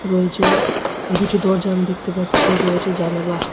রয়েছে দুটি দরজা আমি দেখতে পাচ্ছি রয়েছে জানালা।